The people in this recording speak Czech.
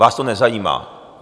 Vás to nezajímá.